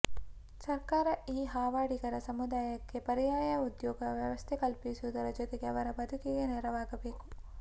ಸರ್ಕಾರ ಈ ಹಾವಾಡಿಗರ ಸಮುದಾಯಕ್ಕೆ ಪರ್ಯಾಯ ಉದ್ಯೋಗ ವ್ಯವಸ್ಥೆ ಕಲ್ಪಿಸುವುದರ ಜೊತೆಗೆ ಅವರ ಬದುಕಿಗೆ ನೆರವಾಗಬೇಕು